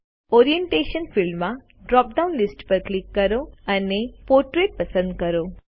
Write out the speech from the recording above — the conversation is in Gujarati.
ઓરિએન્ટેશન ફિલ્ડમાં ડ્રોપ ડાઉન લીસ્ટ પર ક્લિક કરો અને પોર્ટ્રેટ પસંદ કરો